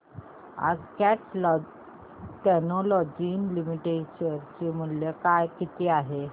आज Cat Technologies Limited चे share चे मूल्य किती आहे सांगा